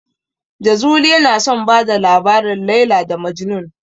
Jazuli yana son bada labarin "Laila da Majnun".